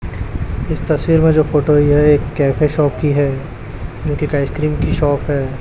इस तस्वीर में जो फोटो आई है एक कैफे शॉप की है। उनकी एक आइसक्रीम की शॉप की है।